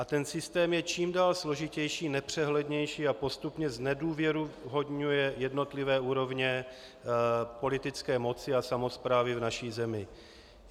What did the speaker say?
A ten systém je čím dál složitější, nepřehlednější a postupně znedůvěryhodňuje jednotlivé úrovně politické moci a samosprávy v naší zemi.